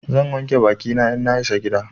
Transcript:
Zan wanke bakina in na isa gida.